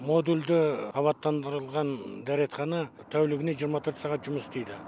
модульді абаттандырылған дәретхана тәулігіне жиырма төрт сағат жұмыс істейді